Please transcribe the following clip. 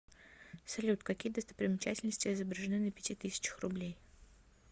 салют какие достопримечательности изображены на пяти тысячах рублей